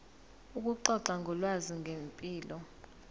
ukuxoxa ngolwazi ngempilo